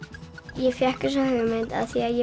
ég fékk þessa hugmynd af því ég